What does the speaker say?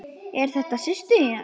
Eru þetta systur þínar?